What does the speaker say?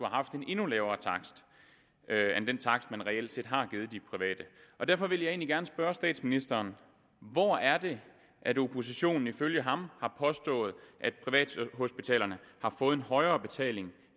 haft en endnu lavere takst end den takst man reelt set har givet de private og derfor vil jeg egentlig gerne spørge statsministeren hvor er det at oppositionen ifølge ham har påstået at privathospitalerne har fået en højere betaling